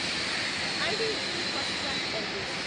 IDFC first bank LTD